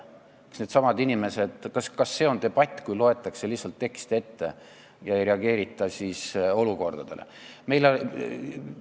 Kas see on debatt, kui loetakse lihtsalt teksti ette ega reageerita tekkinud olukorrale?